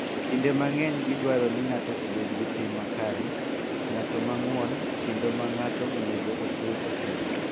Kinde mang�eny, gidwaro ni ng�ato obed gi tim makare, ng�at ma ng�won, kendo ma ng�ato onego ochul e telo.